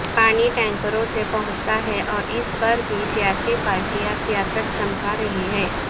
پانی ٹینکروں سے پہنچتا ہے اور اس پر بھی سیاسی پارٹیاں سیاست چمکا رہی ہیں